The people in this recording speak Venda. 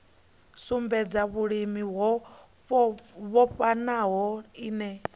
sumbedza vhulimi ho vhofhanaho ine